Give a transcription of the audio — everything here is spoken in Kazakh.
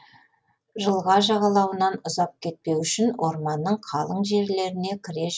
жылға жағалауынан ұзап кетпеу үшін орманның қалың жерлеріне кіре